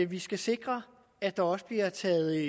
vi skal sikre at der også bliver taget